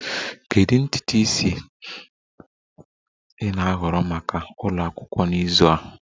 Kedu ntutu isi ị na-ahọrọ maka ụlọ akwụkwọ n'izu a?